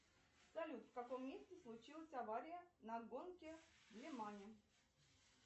салют в каком месте случилась авария на гонке в лимане